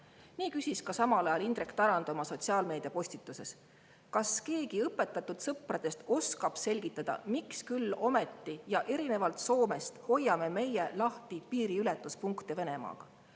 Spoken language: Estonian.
Nii küsis samal ajal ka Indrek Tarand oma sotsiaalmeedia postituses, kas keegi õpetatud sõpradest oskab selgitada, miks küll ometi ja erinevalt Soomest hoiame meie lahti piiriületuspunkte Venemaa piiril.